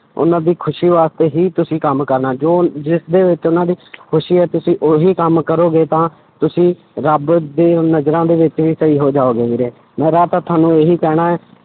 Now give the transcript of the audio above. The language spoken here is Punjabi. ਉਹਨਾਂ ਦੀ ਖ਼ੁਸ਼ੀ ਵਾਸਤੇ ਹੀ ਤੁਸੀਂ ਕੰਮ ਕਰਨਾ, ਜੋ ਜਿਸਦੇ ਵਿੱਚ ਉਹਨਾਂ ਦੀ ਖ਼ੁਸ਼ੀ ਹੈ ਤੁਸੀਂ ਉਹੀ ਕੰਮ ਕਰੋਗੇ ਤਾਂ ਤੁਸੀਂ ਰੱਬ ਦੇ ਨਜ਼ਰਾਂ ਦੇ ਵਿੱਚ ਵੀ ਸਹੀ ਹੋ ਜਾਓਗੇ ਵੀਰੇ, ਮੇਰਾ ਤਾਂ ਤੁਹਾਨੂੰ ਇਹੀ ਕਹਿਣਾ ਹੈ,